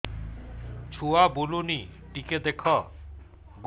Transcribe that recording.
ଛୁଆ ବୁଲୁନି ଟିକେ ଦେଖ